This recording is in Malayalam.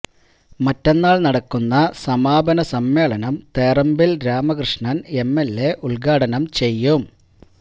മറ്റന്നാള് നടക്കുന്ന സമാപന സമ്മേളനം Therambil Ramakrishnan M L A ഉദ്ഘാടനം ചെയ്യും